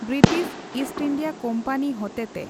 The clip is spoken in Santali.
ᱵᱨᱤᱴᱤᱥ ᱤᱥᱴ ᱤᱱᱰᱤᱭᱟ ᱠᱳᱯᱟᱱᱤ ᱦᱚᱛᱮᱛᱮ